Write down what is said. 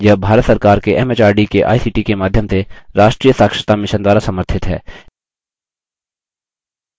यह भारत सरकार के एमएचआरडी के आईसीटी के माध्यम से राष्ट्रीय साक्षरता mission द्वारा समर्थित है